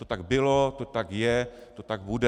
To tak bylo, to tak je, to tak bude.